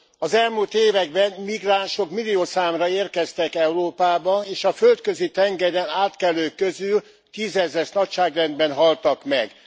Az elmúlt években migránsok milliószámra érkeztek Európába, és a Földközi tengeren átkelők közül tízezres nagyságrendben haltak meg.